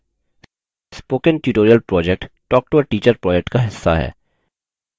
spoken tutorial project talktoateacher project का हिस्सा है